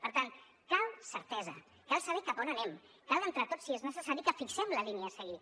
per tant cal certesa cal saber cap a on anem cal entre tots si és necessari que fixem la línia a seguir